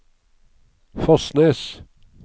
Fosnes